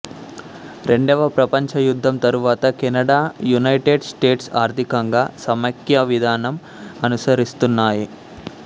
రెండవ ప్రపంచ యుద్ధం తరువాత కెనడా యునైటెడ్ స్టేట్స్ ఆర్థికంగా సమైక్యవిధానం అనుసరిస్తున్నాయి